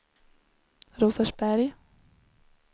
Rosersberg